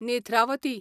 Netravathi